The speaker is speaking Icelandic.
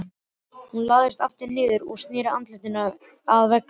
Hún lagðist aftur niður og sneri andlitinu að veggnum.